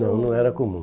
Não, não era comum.